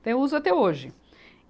Então, eu uso até hoje.